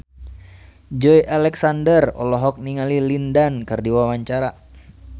Joey Alexander olohok ningali Lin Dan keur diwawancara